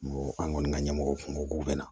An kɔni ka ɲɛmɔgɔw kun k'u bɛna